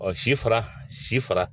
Ɔ si fara si fara